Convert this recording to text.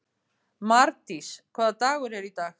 Mardís, hvaða dagur er í dag?